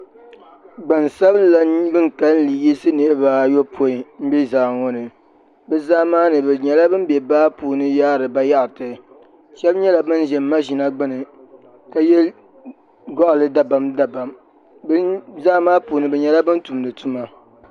Gbansabila bin kanli yisi niraba ayopoin n bɛ zaa ŋo ni bi zaa maa ni bi nyɛla bin bɛ baa puuni yaari bayaɣati shab nyɛla bin ʒi maʒina gbuni ka yɛ goɣali dabam dabam bi zaa maa puuni bi nyɛla bin tumdi tuma